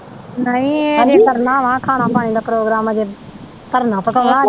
ਨਹੀਂ ਹਜੇ ਕਰਨਾ ਵਾ ਖਾਣਾ ਪਾਣੀ ਦਾ ਪ੍ਰੋਗਰਾਮ ਅਜੇ ਧਰਨਾ ਪਕਾਉਣਾ ਅਜੇ।